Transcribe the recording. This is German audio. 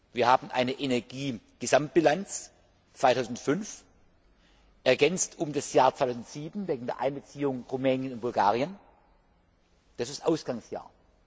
Wir haben eine Energiegesamtbilanz 2005, ergänzt um das Jahr 2007 wegen der Einbeziehung Rumäniens und Bulgariens, das ist das Ausgangsjahr.